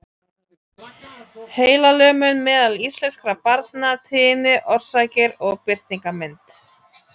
Heilalömun meðal íslenskra barna- tíðni, orsakir og birtingarmynd.